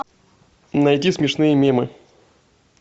найди смешные мемы